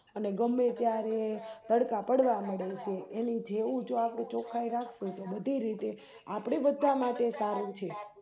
અને ગમે ત્યારે તડકા પડવા મળે છે એની જેવું આપણે ચોખ્ખાઈરાખ્સું તો બધી રીતે આપણે બધા માટે સારું છે